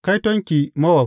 Kaitonki, Mowab!